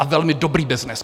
A velmi dobrý byznys.